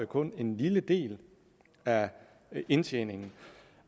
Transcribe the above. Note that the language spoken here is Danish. kun en lille del af indtjeningen